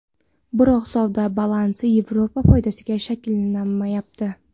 Biroq savdo balansi Yevropa foydasiga shakllanmayapti.